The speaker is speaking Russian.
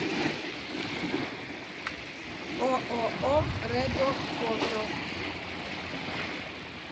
ооо редо фото